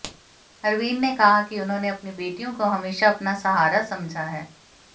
हरवीर ने कहा कि उन्होंने अपनी बेटियों को हमेशा अपना सहारा समझा है